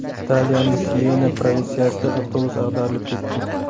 Italiyaning Siyena provinsiyasida avtobus ag‘darilib ketdi.